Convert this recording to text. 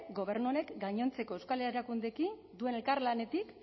gobernu honek gainontzeko euskal erakundeekin duen elkarlanetik